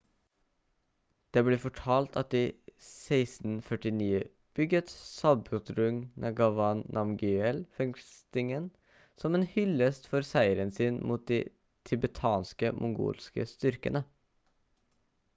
det blir fortalt at i 1649 bygget zhabdrung ngawang namgyel festningen som en hyllest for seieren sin mot de tibetansk-mongolske styrkene